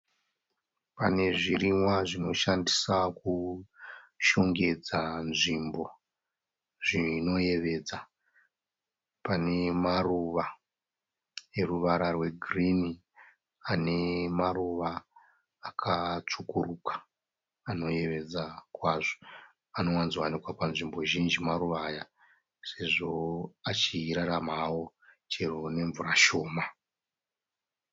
Pane zvirimwa zvinoshandisa kushongedza nzvimbo zvinoyevedza. Pane maruva eruvara rwe girinhi ane maruva akatsvukuruka anoyevedza kwazvo. Anowanzowanikwa panzvimbo zhinji maruva aya sezvo achirarama nemvura shoma.